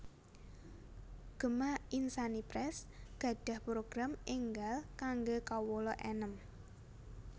Gema Insani Press gadhah program enggal kangge kawula enem